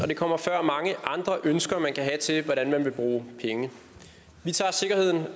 det kommer før mange andre ønsker man kan have til hvordan man vil bruge penge vi tager sikkerheden